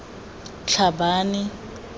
tlhabane